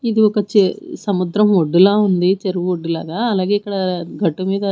ఇది ఒక చె సముద్రం ఒడ్డులా ఉంది చెరువొడ్డులాగా అలాగే ఇక్కడ గట్టు మీద--